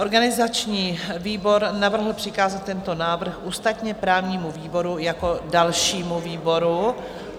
Organizační výbor navrhl přikázat tento návrh ústavně-právnímu výboru jako dalšímu výboru.